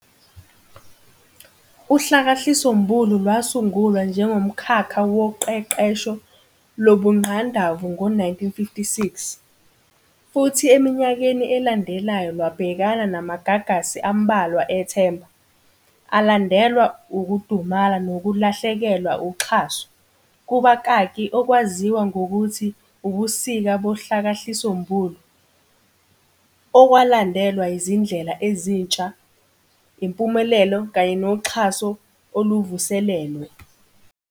UHlakahlisombulu lwasungulwa njengomkhakha woqeqesho lobungqandavu ngo-1956, futhi eminyakeni eyalandela lwabhekana namagagasi ambalwa ethemba, alandelwa ukudumala nokulahlekelwa uxhaso, kubakaki, okwaziwa ngokuthi " ubusika bohlakahlisombulu", okwalandelwa izindlela ezintsha, impumelelo kanye noxhaso oluvuselelwe.